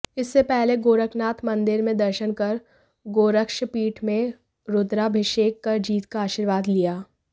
इससे पहले गोरखनाथ मंदिर में दर्शन कर गोरक्षपीठ में रुद्राभिषेक कर जीत का आशीर्वाद लिया